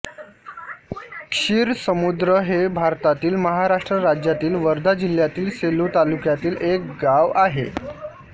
क्षीरसमुद्र हे भारतातील महाराष्ट्र राज्यातील वर्धा जिल्ह्यातील सेलू तालुक्यातील एक गाव आहे